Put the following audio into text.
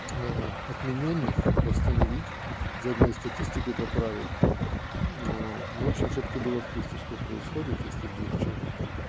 ээ отменённых восстановить статистику поправит в общем чтобы ты была в курсе что происходит если вдруг что